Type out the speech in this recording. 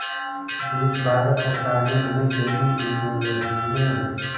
इस बीच भारत सरकार ने उन्हें डेयरी इंजीनियरिंग में